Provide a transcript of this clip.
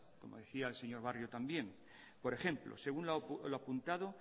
como decía el señor barrio también por ejemplo según lo apuntado